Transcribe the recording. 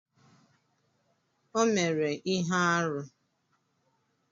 Ọ mere ihe arụ?